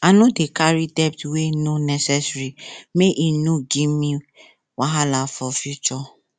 i no dey carry debt wey no necessary make e no give me wahala for future